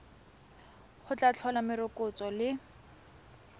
go tla tlhola morokotso le